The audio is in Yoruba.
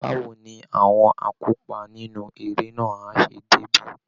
Báwo ni àwọn akópa nínú eré náà á ṣe débí?